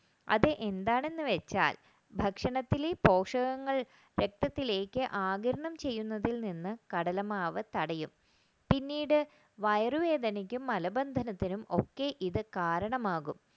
അത് എന്താണ് വെച്ചാൽ ഭക്ഷണത്തിലെ പോക്ഷകങ്ങൾ രക്തത്തിലേക്ക് ആകീരണം ചെയ്യുന്നതിൽ നിന്ന് കടലമാവ് തടയും പിന്നീട് വയറുവേദനയ്ക്കും മലബന്ധനത്തിനും ഒക്കെ ഇത് കാരണമാകും